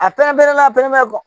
A pɛrɛn-pɛrɛnla a pɛrɛmɛ bɔ